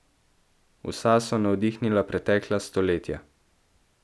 Vsa so navdihnila pretekla stoletja.